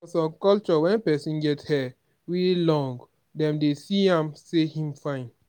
for some culture when person get hair wey long dem dey see am sey im fine